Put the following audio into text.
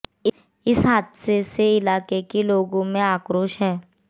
इस हादसे से इलाके के लोगों में आक्रोश है